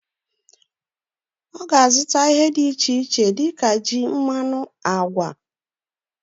Oga azuta ihe di iche ich dika ji, mmanu, agwa